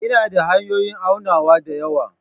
Ina da hanyoyin aunawa da yawa.